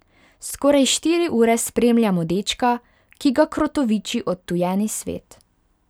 Skoraj štiri ure spremljamo dečka, ki ga krotoviči odtujeni svet.